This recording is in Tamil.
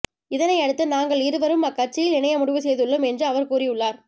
இதனை அடுத்து நாங்கள் இருவரும் அக் கட்சியில் இணைய முடிவு செய்துள்ளோம் என்று அவர் கூறி உள்ளார்